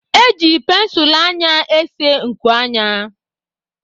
Eji pensụl anya ésé nku anya